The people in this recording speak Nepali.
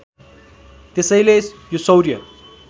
त्यसैले यो सौर्य